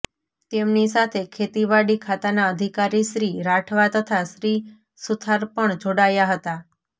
તેમની સાથે ખેતીવાડી ખાતાના અધિકારી શ્રી રાઠવા તથા શ્રી સુથાર પણ જોડાયા હતા